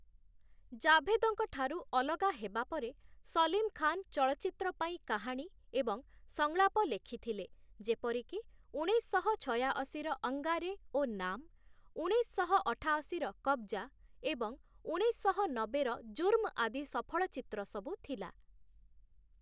ଜାଭେଦଙ୍କ ଠାରୁ ଅଲଗା ହେବା ପରେ ସଲିମ ଖାନ ଚଳଚ୍ଚିତ୍ର ପାଇଁ କାହାଣୀ ଏବଂ ସଂଳାପ ଲେଖିଥିଲେ, ଯେପରିକି ଉଣେଇଶଶହ ଛୟାଅଶୀର 'ଅଙ୍ଗାରେ' ଓ 'ନାମ୍‌', ଉଣେଇଶଶହ ଅଠାଅଶୀର 'କବ୍‌ଜା' ଏବଂ ଉଣେଇଶଶହ ନବେର 'ଜୁର୍ମ' ଆଦି ସଫଳ ଚିତ୍ର ସବୁ ଥିଲା ।